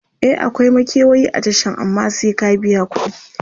e akwai makewayi a Tashan amma sai ka biya kudi